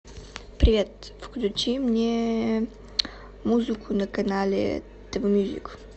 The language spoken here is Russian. привет включи мне музыку на канале тв мьюзик